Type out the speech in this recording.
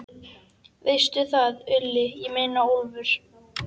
Veistu það, Úlli, ég meina Úlfur.